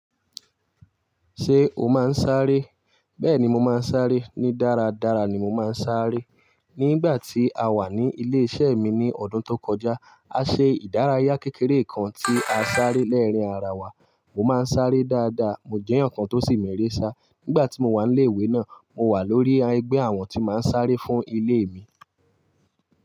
Ṣé o máa ń sáré? Bẹ́ẹ̀ni mo máa ń sáré. Ní dáradára ni mo máa ń sáré. Nígbà tí a wà ní ilé iṣẹ́ mi ní ọdún tó kọjá, a ṣe ìdárayá kékeré kan tí a sáré lẹ́ẹ̀rín ara wa. Mo máa ń sáré dáadáa, mo jẹ́ èèyan kan tó sì m'ere sá. Nígbà tí mo wà ní ilé ìwé náà, mo wà lórí ẹgbẹ́ àwọn tí máa ń sáré fún ilé mi.